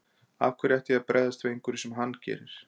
Af hverju ætti ég að bregðast við einhverju sem hann gerir.